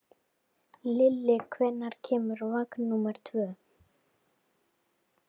Lilli, hvenær kemur vagn númer tvö?